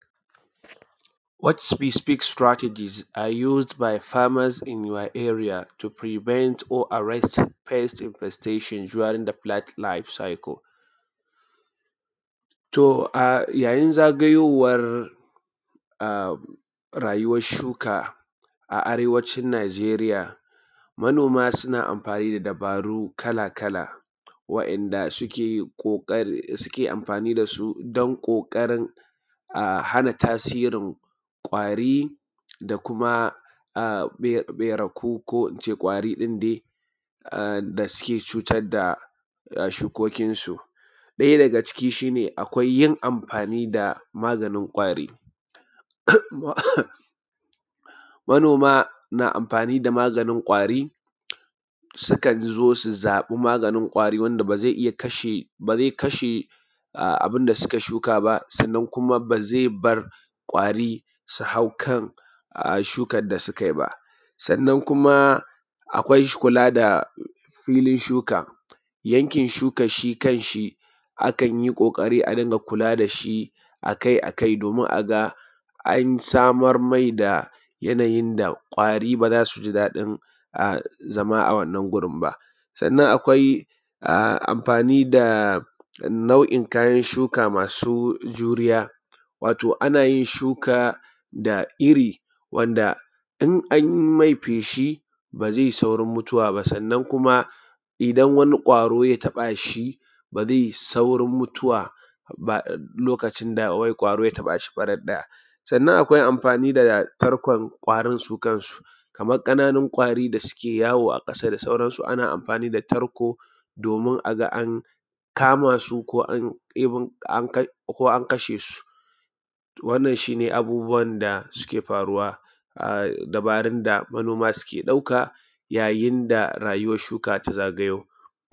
What specific strategies used by farmers in your area to prevent or arrest pest infestation during life circle? To yayin zagayowan rayuwan shuka a arewacin Najeriya, manoma suna amfani da dabaru kala kala wa'inda suke amfani da su don ƙoƙarin a hana tasirin ƙwari da kuma ɓeraku ko ince ƙwari ɗin dai da suke cutar da shukokin su. Ɗaya daga cikin su shi ne akwai yin amfani da maganin ƙwari, manoma na amafani da maganin ƙwari, sukan zo su zaɓi maganin ƙwari wanda ba zai iya kashe abin da suka shuka ba, sannan kuma ba zai bar ƙwari su hau kan shukan da suka yi ba. Sannan kuma akwai kula da filin shuka. Yankin shukan shi kan shi akan yi ƙoƙari a rinƙa kula da shi akai akai domin a ga an samar mai da yanayi inda ƙwari ba za su ji daɗin zama a wannan gurin ba. Sannan akwai amfani da nau'in kayan shuka masu juriya, wato ana yin shuka da iri wanda in an mai feshi ba zai yi saurin mutuwa ba, sannan kuma idan wani ƙwaro ya taɓa shi ba zai yi saurin mutuwa ba lokacin da ƙwari ya taɓa shi faraɗ ɗaya. Sannan akwai amfani da tarko ƙwarin su kansu, kaman ƙananun ƙwarin da suke yawo a ƙasa da sauransu, ana amfani da tarko domin a ga an kama su ko an kashe su. Wannan shi ne abubuwan da suke faruwa dabarun da manoma suke ɗauka yayin da rayuwan shuka ta zagayo.